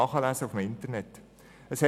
Man kann diese im Internet nachlesen.